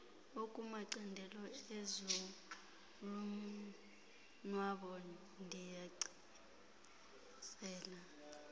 ekumacandelo ezolonwabo ndiyanicela